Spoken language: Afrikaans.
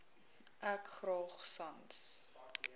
ek graag sans